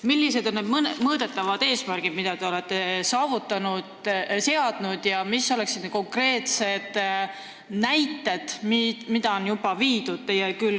Millised on need mõõdetavad eesmärgid, mida te olete seadnud, ja mis on konkreetsed näited, mis on juba ellu viidud?